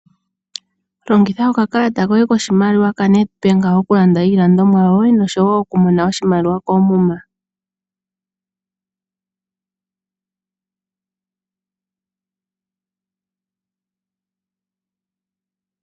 Longitha oka kalata koye koshimaliwa ka Nedbank okulanda iilandomwa yoye nosho woo oku mona oshimaliwa koomuma.